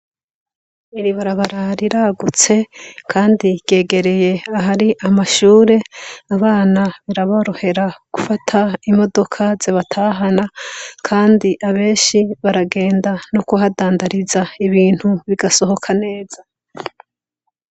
Iri barabara riragutse kandi ryegereye ahari amashure. Abana biraborohera gufata imodoka zibatahana, kandi abenshi baragenda no kuhadandariza ibintu bigasohoka neza.